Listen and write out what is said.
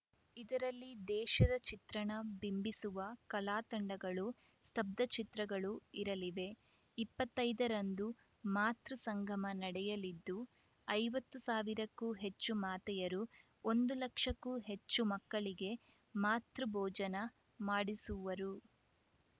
ಇದರಲ್ಲಿ ದೇಶದ ಚಿತ್ರಣ ಬಿಂಬಿಸುವ ಕಲಾತಂಡಗಳು ಸ್ತಬ್ದ ಚಿತ್ರಗಳು ಇರಲಿವೆ ಇಪ್ಪತ್ತೈದರಂದು ಮಾತೃ ಸಂಗಮ ನಡೆಯಲಿದ್ದು ಐವತ್ತು ಸಾವಿರಕ್ಕೂ ಹೆಚ್ಚು ಮಾತೆಯರು ಒಂದು ಲಕ್ಷಕ್ಕೂ ಹೆಚ್ಚು ಮಕ್ಕಳಿಗೆ ಮಾತೃ ಭೋಜನ ಮಾಡಿಸುವರು